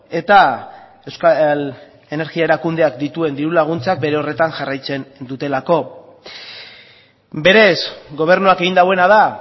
eta euskal energia erakundeak dituen diru laguntzak bere horretan jarraitzen dutelako berez gobernuak egin duena da